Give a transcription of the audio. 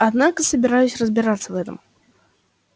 однако собираюсь разобраться в этом